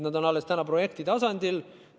Nad on täna alles projekti tasandil.